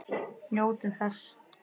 Njótum þess.